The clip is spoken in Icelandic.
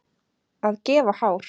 Að gefa hár